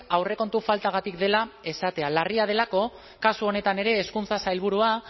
aurrekontu faltagatik dela esatea larria delako kasu honetan ere hezkuntza sailburua